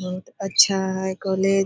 बहुत अच्छा है कॉलेज ।